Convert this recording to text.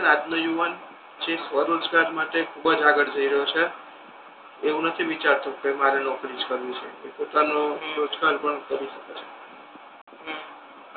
અને આજનો યુવાન સ્વરોજગારી માટે ખૂબ જ આગળ વધી રહ્યો છે એવુ નથી વિચારતો કે મારે નોકરી જ કરવી છે હમ એ પોતાનો રોજગાર પણ કરી શકે છે હમ